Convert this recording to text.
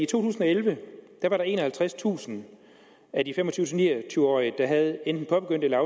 tusind og elleve var enoghalvtredstusind af de fem og tyve til ni og tyve årige der havde enten påbegyndt eller